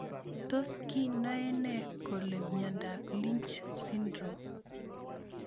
Tos kinae nee kole miondop lynch syndrome